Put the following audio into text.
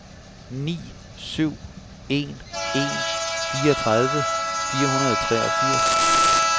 ni syv en en fireogtredive fire hundrede og treogfirs